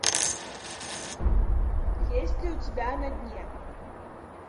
есть ли у тебя на дне